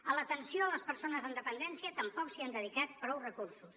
a l’atenció a les persones amb dependència tampoc s’hi han dedicat prou recursos